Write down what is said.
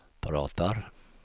pratar